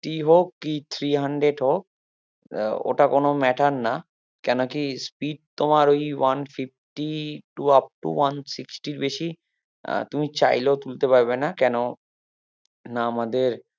কি three hundred hope হম ওটা কোনো matter না কেন কি speed তোমার ওই one fifty two up to one sixty এর বেশি আহ তুমি চাহিলেও তুলতে পারবে না কেন না আমাদের